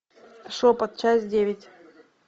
шепот часть девять